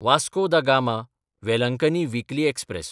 वास्को दा गामा–वेलंकनी weekly express